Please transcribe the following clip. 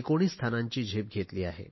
19 स्थानांची झेप घेतली आहे